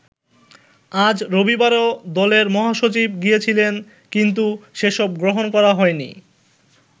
আজ রবিবারেও দলের মহাসচিব গিয়েছিলেন কিন্তু সেসব গ্রহণ করা হয়নি।